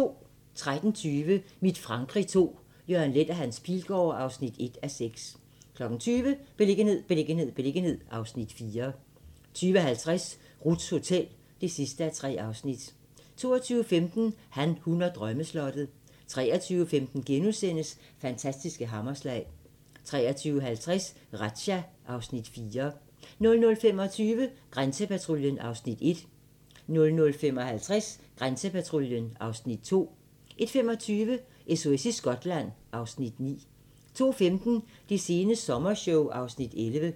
13:20: Mit Frankrig II - Jørgen Leth & Hans Pilgaard (1:6) 20:00: Beliggenhed, beliggenhed, beliggenhed (Afs. 4) 20:50: Ruths Hotel (3:3) 22:15: Han, hun og drømmeslottet 23:15: Fantastiske hammerslag * 23:50: Razzia (Afs. 4) 00:25: Grænsepatruljen (Afs. 1) 00:55: Grænsepatruljen (Afs. 2) 01:25: SOS i Skotland (Afs. 9) 02:15: Det sene sommershow (Afs. 11)